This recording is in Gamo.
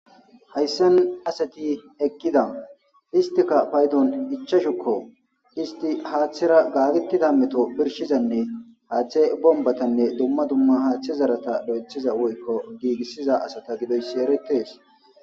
Haysani asati eqida , istika paydon ichashuko, ist hathera gaagetida meto birshizanne hathe bombatane dumma dumma hethate zarata giigisiza woyko lo'ethiza asata gidoysi eretesi